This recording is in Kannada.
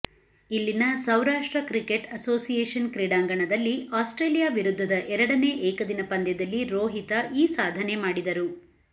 ಇಲ್ಲಿನ ಸೌರಾಷ್ಟ್ರ ಕ್ರಿಕೆಟ್ ಅಸೋಸಯೇಷನ್ ಕ್ರೀಡಾಂಗಣದಲ್ಲಿ ಆಸ್ಟ್ರೇಲಿಯಾ ವಿರುದ್ಧದ ಎರಡನೇ ಏಕದಿನ ಪಂದ್ಯದಲ್ಲಿ ರೋಹಿತ ಈ ಸಾಧನೆ ಮಾಡಿದರು